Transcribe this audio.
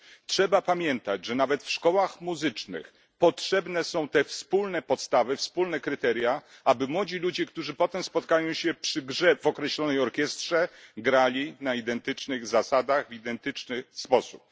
Trzeba pamiętać, że nawet w szkołach muzycznych potrzebne są te wspólne podstawy, wspólne kryteria, aby młodzi ludzie, którzy potem spotkają się przy grze w określonej orkiestrze, grali na identycznych zasadach, w identyczny sposób.